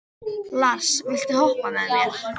Lars, viltu hoppa með mér?